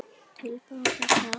Til baka sat